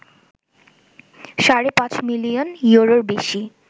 সাড়ে ৫ মিলিয়ন ইউরোর বেশি